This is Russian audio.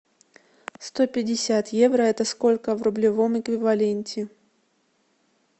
сто пятьдесят евро это сколько в рублевом эквиваленте